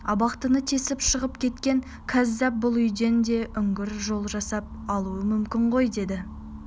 абақтыны тесіп шығып кеткен кәззап бұл үйден де үңгір жол жасап алуы мүмкін ғой деді